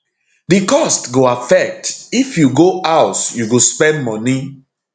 di cost go affect if you go house you go spend moni